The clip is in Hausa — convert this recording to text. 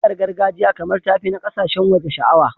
Waƙar gargajiya kamar ta fi na ƙasashen waje sha'awa.